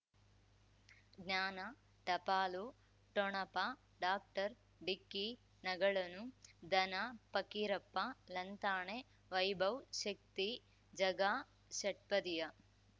ಜ್ಞಾನ ಟಪಾಲು ಠೊಣಪ ಡಾಕ್ಟರ್ ಢಿಕ್ಕಿ ಣಗಳನು ಧನ ಫಕೀರಪ್ಪ ಳಂತಾನೆ ವೈಭವ್ ಶಕ್ತಿ ಝಗಾ ಷಟ್ಪದಿಯ